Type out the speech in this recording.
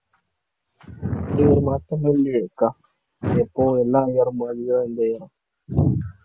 அப்படி ஒரு மாற்றமும் இல்லையே அக்கா எப்பவும் எல்லாம் year உம் மாதிரி தான் இந்த year உம்